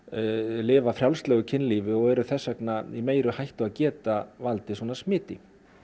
lifa frjálslegu kynlífi og eru þess vegna í meiri hættu með að geta valdið svona smiti